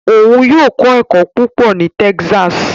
Òun yóò kọ ẹkọ púpọ ní Texas